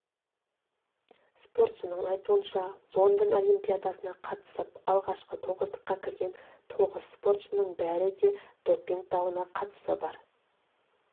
спортшының айтуынша лондон олимпиадасына қатысып алғашқы тоғыздыққа кірген тоғыз спортшының бәрі де допинг дауына қатысы бар